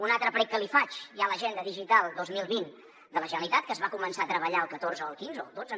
un altre prec que li faig hi ha l’agenda digital dos mil vint de la generalitat que es va començar a treballar el catorze o el quinze o el dotze